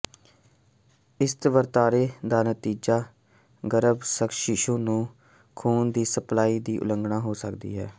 ਇਸ ਵਰਤਾਰੇ ਦਾ ਨਤੀਜਾ ਗਰੱਭਸਥ ਸ਼ੀਸ਼ੂ ਨੂੰ ਖੂਨ ਦੀ ਸਪਲਾਈ ਦੀ ਉਲੰਘਣਾ ਹੋ ਸਕਦਾ ਹੈ